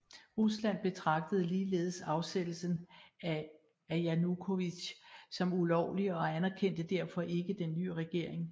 Rusland betragtede ligeledes afsættelsen af Janukovitj som ulovlig og anerkendte derfor ikke den nye regering